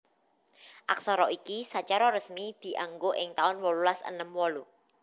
Aksara iki sacara resmi dianggo ing taun wolulas enem wolu